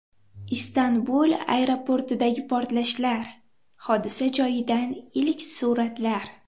Istanbul aeroportidagi portlashlar: hodisa joyidan ilk suratlar.